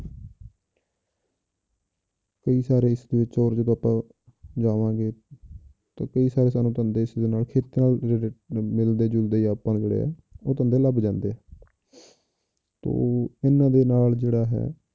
ਕਈ ਸਾਰੇ ਇਸਦੇ ਵਿੱਚ ਜਾਵਾਂਗੇ ਤਾਂ ਕਈ ਸਾਰੇ ਤੁਹਾਨੂੰ ਧੰਦੇ ਇਸਦੇ ਨਾਲ ਖੇਤੀ ਨਾਲ ਜਿਹੜੇ ਮਿਲਦੇ ਜੁਲਦੇ ਹੀ ਆਪਾਂ ਜਿਹੜੇ ਆ ਉਹ ਧੰਦੇ ਲੱਭ ਜਾਂਦੇ ਆ ਤੇ ਇਹਨਾਂ ਦੇ ਨਾਲ ਜਿਹੜਾ ਹੈ,